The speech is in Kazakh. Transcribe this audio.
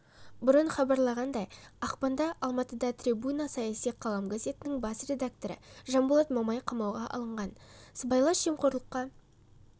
бұрын хабарланғандай ақпанда алматыда трибуна саяси қалам газетінің бас редакторы жанболат мамай қамауға алынған сыбайлас жемқорлыққа